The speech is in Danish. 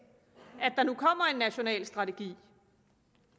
national strategi